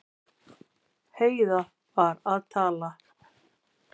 Heiða var að tala.